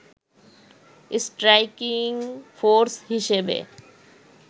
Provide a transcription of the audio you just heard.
striking force হিসেবে